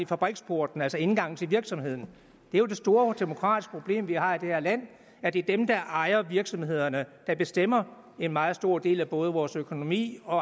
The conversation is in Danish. fabriksporten altså indgangen til virksomheden det er jo det store demokratiske problem vi har i det her land at det er dem der ejer virksomhederne der bestemmer en meget stor del af både vores økonomi og